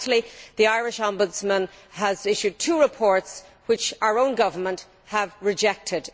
Lastly, the Irish Ombudsman has issued two reports, which our own government have rejected.